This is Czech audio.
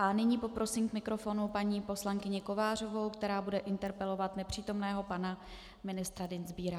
A nyní poprosím k mikrofonu paní poslankyni Kovářovou, která bude interpelovat nepřítomného pana ministra Dienstbiera.